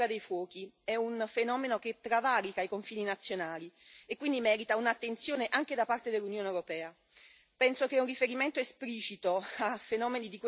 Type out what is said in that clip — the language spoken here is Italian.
Come ho avuto modo di ribadire, quanto accaduto nella Terra dei Fuochi è un fenomeno che travalica i confini nazionali e quindi merita un'attenzione anche da parte dell'Unione europea.